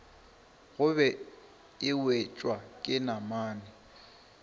gobe e wetšwa ke namane